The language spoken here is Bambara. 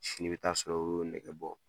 Sini i bɛ taa sɔrɔ o y'o nɛgɛ bɔ.